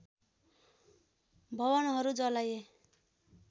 भवनहरु जलाइए